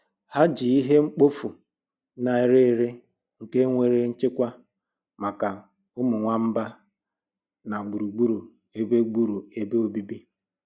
Ha ji ihe mkpofu na-ere ere nke nwéré nchekwa maka ụmụ nwamba na gbùrù gbúrù ebe gbúrù ebe obibi